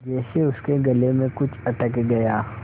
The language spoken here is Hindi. जैसे उसके गले में कुछ अटक गया